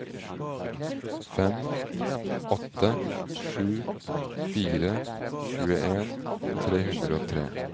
fem åtte sju fire tjueen tre hundre og tre